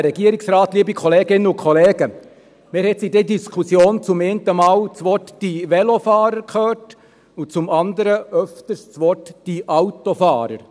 Wir haben in dieser Diskussion einmal das Wort Velofahrer gehört, und zum anderen öfters das Wort Autofahrer.